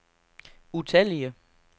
utallige